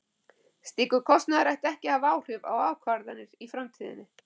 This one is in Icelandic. Slíkur kostnaður ætti ekki að hafa áhrif á ákvarðanir í framtíðinni.